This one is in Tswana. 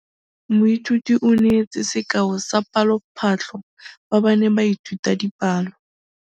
Moithuti o neetse sekaô sa palophatlo fa ba ne ba ithuta dipalo.